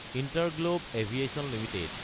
InterGlobe Aviation Ltd